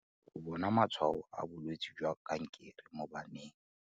Go bona matshwao a bolwetse jwa kankere mo baneng.